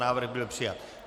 Návrh byl přijat.